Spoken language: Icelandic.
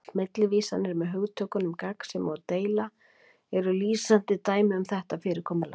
Millivísanir með hugtökunum gagnsemi og deila eru lýsandi dæmi um þetta fyrirkomulag